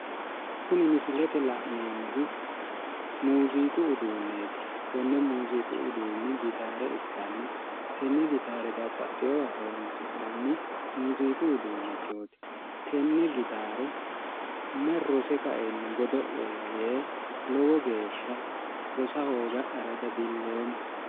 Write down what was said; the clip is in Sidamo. Kuni misilete la'neemohu muuziqu uduuneeti konne muuziqu uduuni gitaare ikkana tenne gitaare babbaxewowa horonisi'nayi muuziqu uduuneeti tenne gitaare mayi rose kaeeniti godo'lola yee rosa hooga'yayi lowonita huluulamoomo